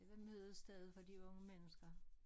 Det var mødestedet for de unge mennesker